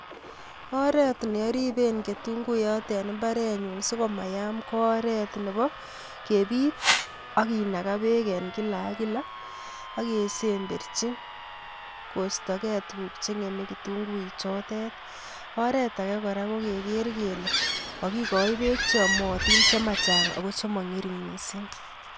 Oret ne ariben ketunguiyot en imbarenyun so komayam ko oret nebo kepit ak kinaka beek en kila ak kila, ak kesemberchi koistokei tukuk che ngeme kitunguichotet, oret age kora ko keker kele kakikoi beek che yomotin che machang ako che mangering mising.